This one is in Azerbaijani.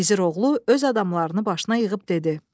Gizir oğlu öz adamlarını başına yığıb dedi: